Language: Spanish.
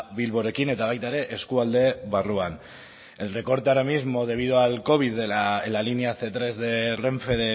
bilborekin eta baita ere eskualde barruan el recorte ahora mismo debido al covid diecinueve en la línea cien tres de renfe